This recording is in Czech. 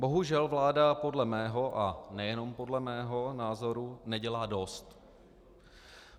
Bohužel vláda podle mého, a nejenom podle mého, názoru nedělá dost.